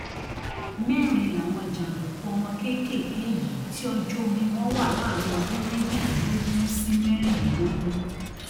mẹrin làwọn jàǹdùkú ọmọ kéékèèké yìí tí ọjọ orí wọn wà láàrin ọdún méjìdínlógún sí mẹrìnlélógún